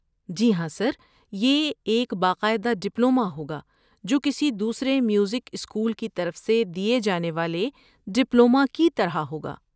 جی ہاں، سر، یہ ایک باقاعدہ ڈپلومہ ہوگا جو کسی دوسرے میوزک اسکول کی طرف سے دیے جانے والے ڈپلومہ کی طرح ہوگا۔